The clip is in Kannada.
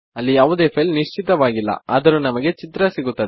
ಅಲ್ಲಿ ಯಾವುದೇ ಫೈಲ್ ನಿಶ್ಚಿತವಾಗಿಲ್ಲ ಆದರೂ ನಿಮಗೆ ಚಿತ್ರ ಸಿಗುತ್ತದೆ